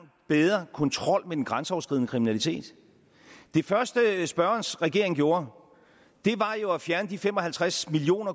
bedre kontrol med den grænseoverskridende kriminalitet det første spørgerens regering gjorde var jo at fjerne de fem og halvtreds million